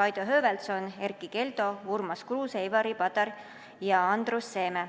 Kaido Höövelson, Erkki Keldo, Urmas Kruuse, Ivari Padar ja Andrus Seeme.